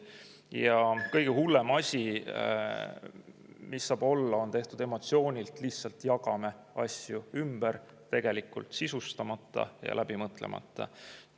Ja kõige hullem asi, mis saab olla, on tehtud emotsiooni pealt, nii et me lihtsalt jagame asju ümber, tegelikult on kõik sisustamata ja läbimõtlemata.